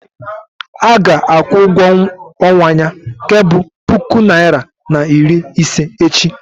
a ga-akwụ ụgwọ ọnwa ya nke bu puku naira na iri ise echi